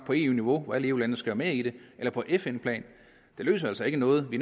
på eu niveau hvor alle eu landene skal være med i det eller på fn plan det løser altså ikke noget vi